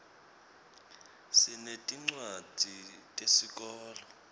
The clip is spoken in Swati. sinetincwadzi tesikolo